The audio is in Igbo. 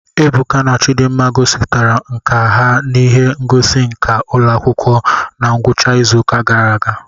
Ebuka na Chidimma gosipụtara nkà ha n'ihe ngosi nka ụlọ akwụkwọ na ngwụcha izuụka gara aga